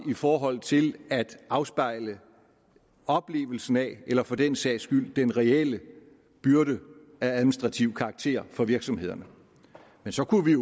i forhold til at afspejle oplevelsen af eller for den sags skyld den reelle byrde af administrativ karakter for virksomhederne men så kunne vi